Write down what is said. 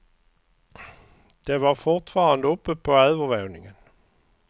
De var fortfarande uppe på övervåningen.